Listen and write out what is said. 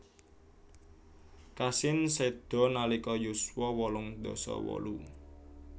Cassin seda nalika yuswa wolung dasa wolu